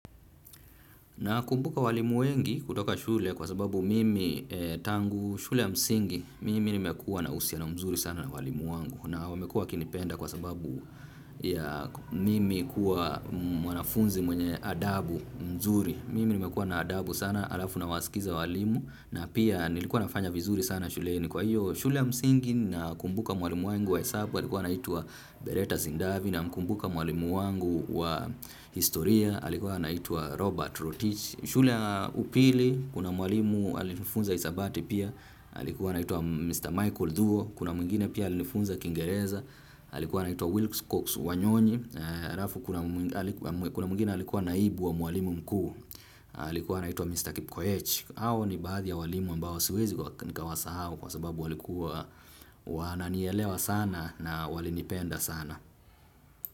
Na kumbuka walimu wengi kutoka shule kwa sababu mimi tangu shule ya msingi mimi nimekuwa na uhusiano mzuri sana na walimu wangu na wamekua wakinipenda kwa sababu ya mimi kuwa mwanafunzi mwenye adabu mzuri mimi nimekua na adabu sana alafu na wasikiza walimu na pia nilikuwa nafanya vizuri sana shuleni kwa hiyo shule ya msingi na kumbuka mwalimu wangu wa hesabu alikuwa anaitwa Beretta Zindavi na mkumbuka mwalimu wangu wa historia alikuwa anaitwa Robert Rotich. Shule ya upili, kuna mwalimu alifunza hisabati pia, alikuwa anaitwa Mr. Michael Thuo, kuna mwingine pia alifunza Kingereza, alikuwa anaitwa Wilkes Cox Wanyoni, harafu kuna mwingine alikuwa naibu wa mwalimu mkuu, alikuwa anaitwa Mr. Kipkoech. Hawa ni baadhi ya walimu ambao siwezi nikawasahau sababu walikuwa wananielewa sana na walinipenda sana.